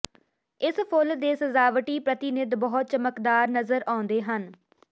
ਇਸ ਫੁੱਲ ਦੇ ਸਜਾਵਟੀ ਪ੍ਰਤੀਨਿਧ ਬਹੁਤ ਚਮਕਦਾਰ ਨਜ਼ਰ ਆਉਂਦੇ ਹਨ